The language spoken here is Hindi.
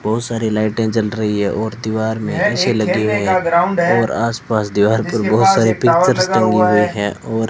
बहुत सारे लाइटें जल रही है और दीवार में पीछे लगी हुई हैं और आसपास दीवार पर बहुत सारे पिक्चर्स टंगे हुए हैं और --